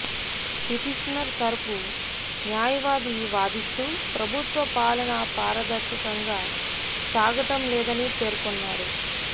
petitioner తరపు న్యాయవాది వాదిస్తూ ప్రభుత్వ పాలన పారదర్శకంగా సాగటం లేదని పేర్కొన్నారు